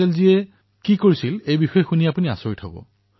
ইয়াৰ বাবে তেওঁ যি পদক্ষেপ গ্ৰহণ কৰিছিল সেয়া শুনিলে আপোনালোক আচৰিত হব